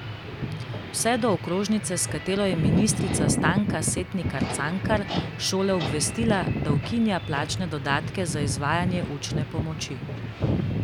Vse do okrožnice, s katero je ministrica Stanka Setnikar Cankar šole obvestila, da ukinja plačne dodatke za izvajanje učne pomoči.